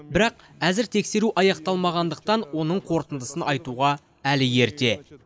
бірақ әзір тексеру аяқталмағандықтан оның қортындысын айтуға әлі ерте